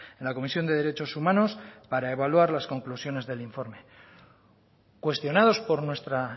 en la comisión de derechos humanos para evaluar las conclusiones del informe cuestionados por nuestra